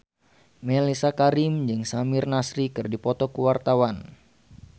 Mellisa Karim jeung Samir Nasri keur dipoto ku wartawan